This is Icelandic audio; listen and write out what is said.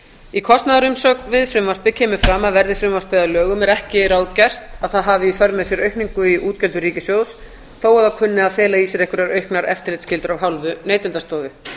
í kostnaðarumsögn við frumvarpið kemur fram að verði frumvarpið að lögum er ekki ráðgert að það hafi í för með sér aukningu í útgjöldum ríkissjóðs þó að það kunni að fela í sér einhverjar auknar eftirlitsskyldur af hálfu neytendastofu